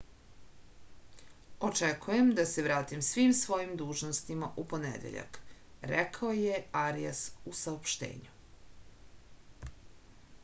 očekujem da se vratim svim svojim dužnostima u ponedeljak rekao je arijas u saopštenju